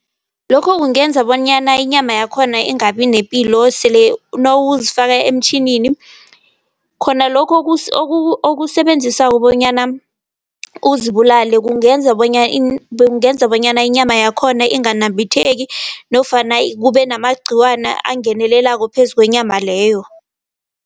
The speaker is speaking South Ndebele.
Lokho kungenza bonyana inyama yakhona ingabi nepilo sele nawuzifaka emtjhinini. Khona lokho okusebenzisako bonyana uzibulale , kungenza bonyana inyama yakhona inganambitheki nofana kube namagqiwana angenelelako phezu kwenyama leyo.